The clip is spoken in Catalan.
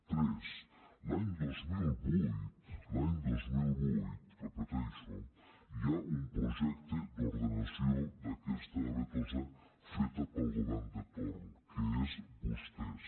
tres l’any dos mil vuit l’any dos mil vuit ho repeteixo hi ha un projecte d’ordenació d’aquesta avetosa feta pel govern de torn que són vostès